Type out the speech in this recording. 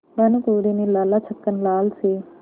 भानकुँवरि ने लाला छक्कन लाल से